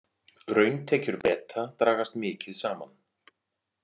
Rauntekjur Breta dragast mikið saman